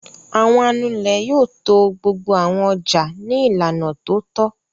Àwọn Anulẹ̀ yóò to gbogbo àwọn ọjà ní ìlànà tó tọ́.